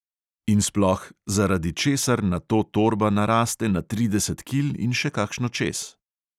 In sploh – zaradi česar nato torba naraste na trideset kil in še kakšno čez.